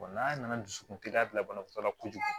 n'a nana dusukun teliya bila banabaatɔ la kojugu